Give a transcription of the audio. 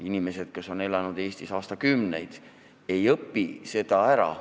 Inimesed, kes on elanud Eestis aastakümneid, ei õpi seda ära.